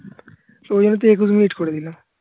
তো ওই জন্য তো একুশ মিনিট করে দিলাম